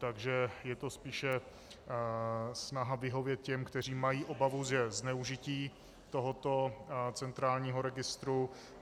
Takže je to spíše snaha vyhovět těm, kteří mají obavu ze zneužití tohoto centrálního registru.